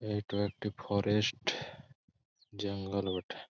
এইটা একটা ফরেস্ট জঙ্গল বটে।